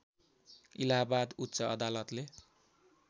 इलाहाबाद उच्च अदालतले